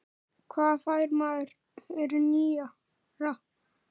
Hvað fær maður fyrir nýra?